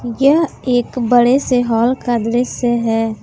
यह एक बड़े से हॉल का दृश्य है।